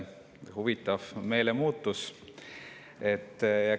Huvitav meelemuutus!